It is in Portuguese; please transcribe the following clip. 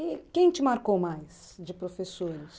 E quem te marcou mais de professores?